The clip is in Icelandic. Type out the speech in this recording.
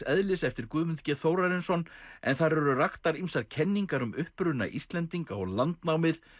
eðlis eftir Guðmund g Þórarinsson en þar eru raktar ýmsar kenningar um uppruna Íslendinga og landnámið